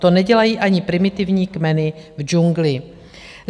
To nedělají ani primitivní kmeny v džungli.